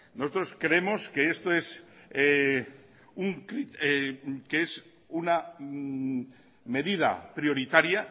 nosotros creemos que esto es una medida prioritaria